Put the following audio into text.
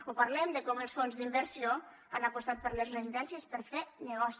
o parlem de com els fons d’inversió han apostat per les residències per fer negoci